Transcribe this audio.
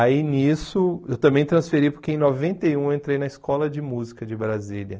Aí nisso, eu também transferi porque em noventa e um eu entrei na escola de música de Brasília.